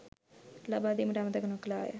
ලබාදීමට අමතක නොකළාය